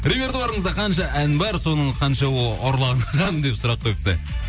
репетуарыңызда қанша ән бар соның қаншауы ұрланған деп сұрақ қойыпты